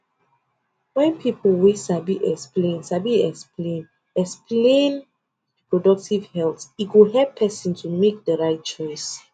wen people wey sabi explain sabi explain explain reproductive health e go help person tomake di right choice